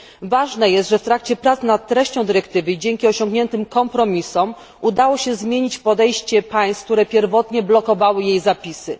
Ważne jest, że w trakcie prac nad treścią dyrektywy i dzięki osiągniętym kompromisom, udało się zmienić podejście państw, które pierwotnie blokowały jej zapisy.